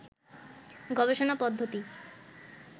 গবেষণা পদ্ধতি